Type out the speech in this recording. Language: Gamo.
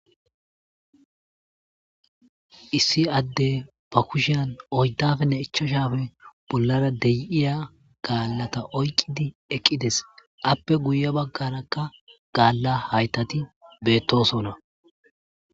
Issi adde ba kushiyan oyddafenne ichashafe bollara de7iya gaallata oyqqidi eqqides appe guye baggarakka gaalla haytati beettosona.